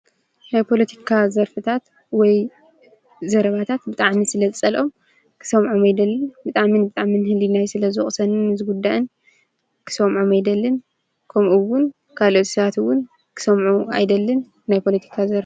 ናይ ፖለቲካ ዘርፍታት ወይ ዘረባታት ብጣዕሚ ስለዝፀልኦም ክሰምዖም እይደልን። ብጣዕሚ ብጣዕሚ ንህሊናይ ስለዝወቅሰንን ዝጉዳእን ክሰምዖም አይደልን። ከምኡ እውን ካልኦት ሰባት እውን ክሰምዑ አይደልን ናይ ፖለቲካ ዘርፍ